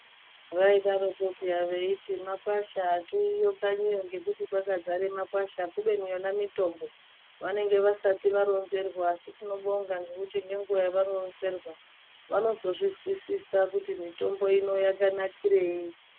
Vadaroko peya veiti makwasha atiuyiyo kanyiyo ngekuti kwakadzara makwasha kubeni yona mutombo vanenge vasati varonzerwa asi tinobonga ngekuti ngenguwa yavaronzerwa vanozozvizwisisa kuti mutombo ino yakanakirei.